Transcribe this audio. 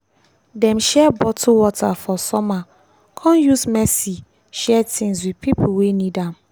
dem share bottle water for summer come use mercy share things with pipo wey need am.